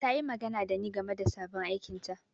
Ta yi magana da ni game da sabon aikinta.